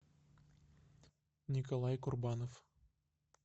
николай курбанов